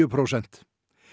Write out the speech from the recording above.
prósent